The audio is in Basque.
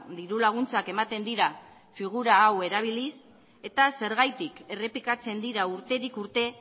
dirulaguntzak ematen dira figura hau erabiliz eta zergatik errepikatzen dira urtetik urte